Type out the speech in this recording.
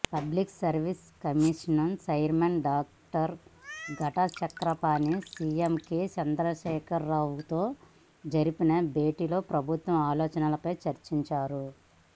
public service commission chairman doctor Ghanta Chakrapani CM K చంద్రశేఖరరావుతో జరిపిన భేటీలో ప్రభుత్వ ఆలోచనలపై చర్చించారు